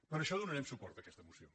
per això donarem suport a aquesta moció